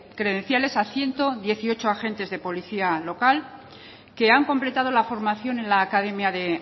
credenciales a ciento dieciocho agentes de policía local que han completado la formación en la academia de